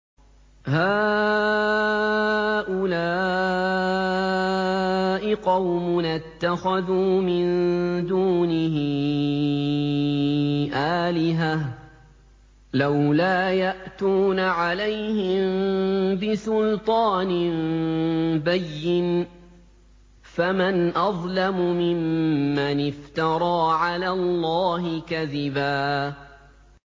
هَٰؤُلَاءِ قَوْمُنَا اتَّخَذُوا مِن دُونِهِ آلِهَةً ۖ لَّوْلَا يَأْتُونَ عَلَيْهِم بِسُلْطَانٍ بَيِّنٍ ۖ فَمَنْ أَظْلَمُ مِمَّنِ افْتَرَىٰ عَلَى اللَّهِ كَذِبًا